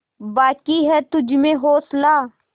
बाक़ी है तुझमें हौसला